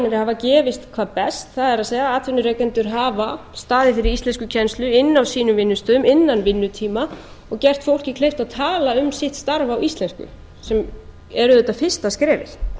hafa gefist hvað best það er að atvinnurekendur hafa staðið fyrir íslenskukennslu inni á sínum vinnustöðum innan vinnutíma og gert fólki kleift að tala um sitt starf á íslensku sem er auðvitað fyrsta skrefið